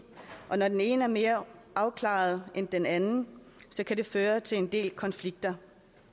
og når den ene er mere afklaret end den anden kan det føre til en del konflikter